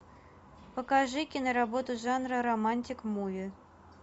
покажи киноработу жанра романтик муви